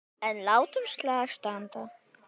En látum slag standa.